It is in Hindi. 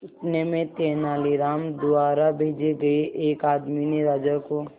इतने में तेनालीराम द्वारा भेजे गए एक आदमी ने राजा को